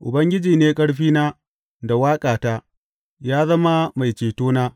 Ubangiji ne ƙarfina da waƙata; ya zama mai cetona.